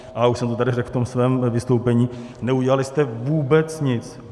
Ale už jsem to tady řekl v tom svém vystoupení, neudělali jste vůbec nic.